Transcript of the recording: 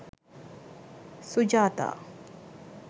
sujatha